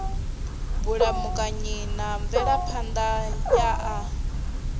vhulamukanyi na mvelaphan ḓa ya